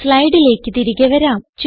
സ്ലൈഡിലേക്ക് തിരികെ വരാം